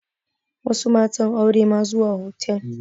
Wasu matan aure ma zuwa hotal